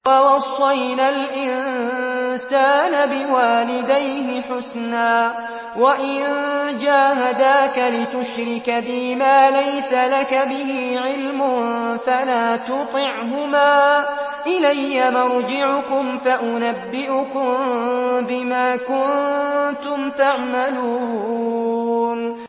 وَوَصَّيْنَا الْإِنسَانَ بِوَالِدَيْهِ حُسْنًا ۖ وَإِن جَاهَدَاكَ لِتُشْرِكَ بِي مَا لَيْسَ لَكَ بِهِ عِلْمٌ فَلَا تُطِعْهُمَا ۚ إِلَيَّ مَرْجِعُكُمْ فَأُنَبِّئُكُم بِمَا كُنتُمْ تَعْمَلُونَ